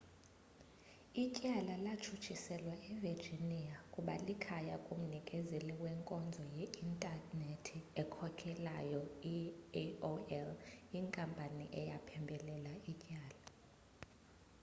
ityala latshutshiselwa evirginia kuba likhaya kumnikezeli wenkonzo ye-intanethi okhokelayo i-aol inkampani eyaphembelela ityala